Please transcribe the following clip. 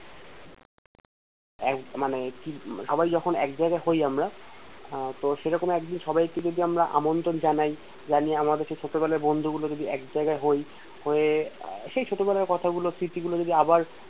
এক মানে সবাই যখন একজায়গায় হই আমরা আহ তো সেরকম একদিন সবাইকে যদি আমরা আমন্ত্রণ জানাই জানিয়ে আমাদের সেই ছোটবেলার বন্ধুগুলো যদি একজায়গায় হই হয়ে সেই ছোটবেলার কথাগুলো স্মৃতিগুলো যদি আবার